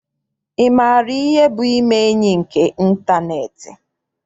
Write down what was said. Ị maara ihe bụ ime enyi nke ịntaneetị?